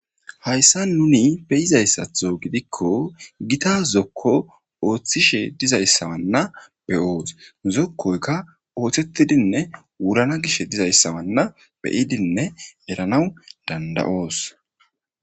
Hayssa nuni beyizayssatho gidikko gita zokko ooththishe dizayssawanna beyoos zokkoykka oothettidinne wurana gish dizayssawanna beyidinne eranaw danda'oos.